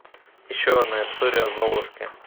еще одна история о золушке